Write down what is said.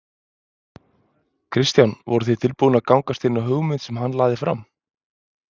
Kristján: Voruð þið tilbúnir að gangast inn á hugmynd sem hann lagði fram?